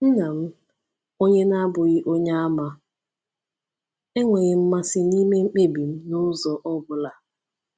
Nna m, onye na-abụghị Onyeàmà, enweghị mmasị n’ime mkpebi m n’ụzọ ọ bụla.